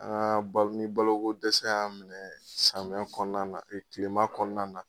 Aa ni baloko dɛsɛ y'an minɛ samiya kɔnɔna na tilema kɔnɔna na